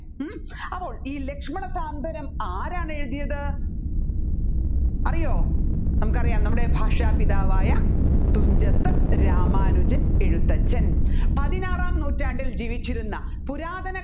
ഉം അപ്പോൾ ഈ ലക്ഷ്മണ സാന്ത്വനം ആരാണ് എഴുതിയത് അറിയോ നമ്മുക്കറിയാം നമ്മുടെ ഭാഷാപിതാവായ തുഞ്ചത്ത് രാമാനുജൻ എഴുത്തച്ഛൻ പതിനാറാം നൂറ്റാണ്ടിൽ ജീവിച്ചിരുന്ന പുരാതന